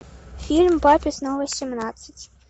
фильм папе снова семнадцать